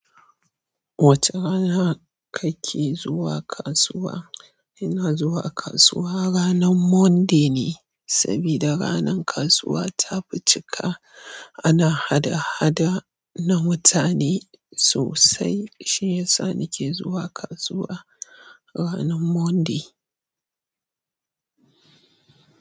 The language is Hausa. Wace rana kake zuwa kasuwa? Ina zuwa kasuwa ranar Monday ne, saboda ranar kasuwa ta ficika ana hada-hada na mutane sosai. Shiyasa nake zuwa kasuwa ranar Monday.